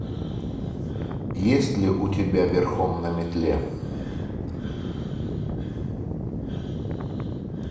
есть ли у тебя верхом на метле